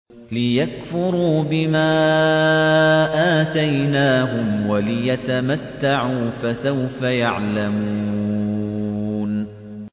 لِيَكْفُرُوا بِمَا آتَيْنَاهُمْ وَلِيَتَمَتَّعُوا ۖ فَسَوْفَ يَعْلَمُونَ